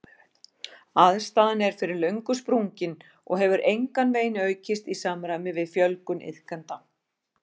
Aðstaðan er fyrir löngu sprungin og hefur engan veginn aukist í samræmi við fjölgun iðkenda.